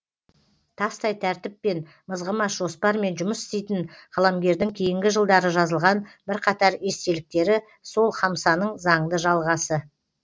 тастай тәртіппен мызғымас жоспармен жұмыс істейтін қаламгердің кейінгі жылдары жазылған бірқатар естеліктері сол хамсаның заңды жалғасы